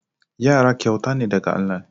Yara kyauta ne daga Allah.